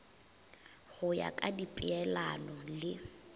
go ya ka dipeelano le